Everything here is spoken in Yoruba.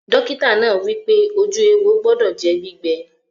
Dọ́kítà náà wípé, ojú éwo gbọdọ̀ jẹ́ gbígbẹ